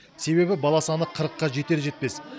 себебі бала саны қырыққа жетер жетпес